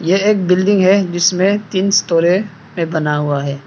यह एक बिल्डिंग है जिसमें तीन स्टोरे में बना हुआ है।